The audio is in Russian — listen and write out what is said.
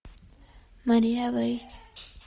мария вэй